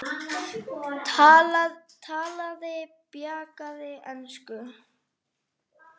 Talaði bjagaða ensku: